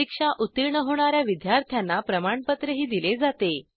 परीक्षा उत्तीर्ण होणा या विद्यार्थ्यांना प्रमाणपत्रही दिले जाते